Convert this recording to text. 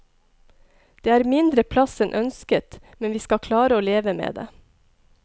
Det er mindre plass enn ønsket, men vi skal klare å leve med det.